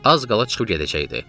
Az qala çıxıb gedəcəkdi.